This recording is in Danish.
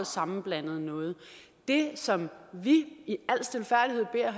sammenblandet noget det som vi i al stilfærdighed beder